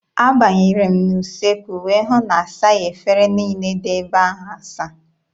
Abanyere m n'usekwu wee hụ na asaghị efere niile dị ebe ahụ asa.